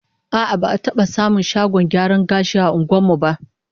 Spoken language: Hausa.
A'a, ba'a taba samun shagon gyaran gashi a unguwar mu ba